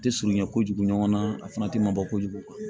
Te surunya kojugu ɲɔgɔn na a fana ti mabɔ kojugu